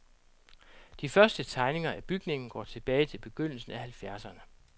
De første tegninger af bygningen går tilbage til begyndelsen af halvfjerdserne.